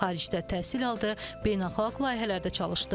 Xaricdə təhsil aldı, beynəlxalq layihələrdə çalışdı.